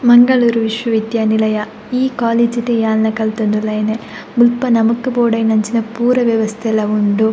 ಮಂಗಳೂರು ವಿಶ್ವವಿದ್ಯಾನಿಲಯ ಈ ಕಾಲೇಜ್ ಡೆ ಯಾನ್ಲ ಕಲ್ತೊಂದುಲ್ಲೆ ಮುಲ್ಪ ನಮಕ್ ಬೋಡಾಯಿನಂಚಿನ ಪೂರ ವ್ಯವಸ್ಥೆಲ ಉಂಡು.